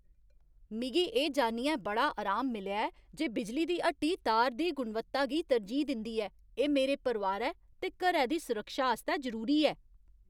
मिगी एह् जान्नियै बड़ा अराम मिलेआ ऐ जे बिजली दी हट्टी तार दी गुणवत्ता गी तरजीह् दिंदी ऐ। एह् मेरे परोआरै ते घरै दी सुरक्षा आस्तै जरूरी ऐ।